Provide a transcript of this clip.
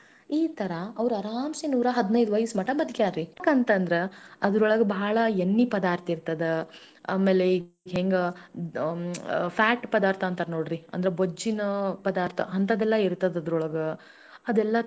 ತಿಂದ್ ಅದಕ್ಕ ಅದು ಜೀರ್ಣಸ್ಕೊಳುದು ಅಷ್ಟ ಶಕ್ತಿನು ಬೇಕಲ್ಲಾ ಅದನ್ ತಿಂದವರಿಗೆ ಅದೆಲ್ಲ ಕಷ್ಟ ಆಗ್ತೇತಿ ರೀ ಆಮೇಲೆ ಅದ್ರ ಮುಳ್ ಇರ್ತಾವ ಏನೇನೋ ಇರ್ತದ್ ರೀ ಅದ್ರೊಳಗ ಅದೆಲ್ಲಾ ತಿಂದ್ ಅದನ್ನ ಅರಗಾಸ್ಕೊಳ್ಳುವ ಶಕ್ತಿ ಇರೋರ್ ಮಾತ್ರ ಮಾಂಸಾಹಾರಿ ತಿಂತಾರ ಅಂತ.